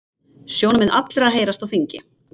Sjónarmið allra heyrast á þingi